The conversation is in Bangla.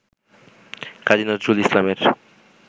কাজী নজরুল ইসলামের